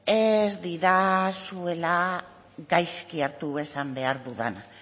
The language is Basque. ez didazuela gaizki hartu esan behar dudana